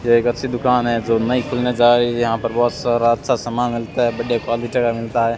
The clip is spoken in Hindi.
ये एक अच्छी दुकान है जो नई खुलने जा रही यहां पर बहुत सारा अच्छा सामान मिलता है बढ़िया क्वालिटी का मिलता है।